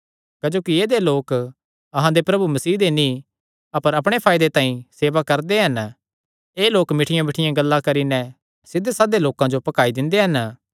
क्जोकि ऐदेय लोक अहां दे प्रभु मसीह दी नीं अपर अपणे फायदे तांई सेवा करदे हन एह़ लोक मिठ्ठियांमिठ्ठियां गल्लां करी नैं सिध्धे सादे लोकां जो भकाई दिंदे हन